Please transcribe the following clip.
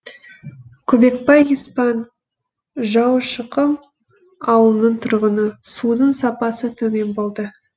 көбекбай еспан жаушықұм ауылының тұрғыны судың сапасы төмен болды